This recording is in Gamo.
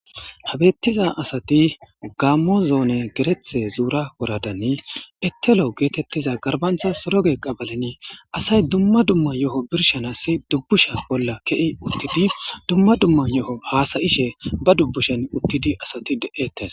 habettiza asati gaamozoone gerethe zuura woradanni ettelo geetettiza garbantha soroge qabalenii asay dumma dumma yo7o birshanassi dubbusha bolla ke7i uttidi dumma dumma yo7o haasayishe ba dubbushen uttidi asati de7ettes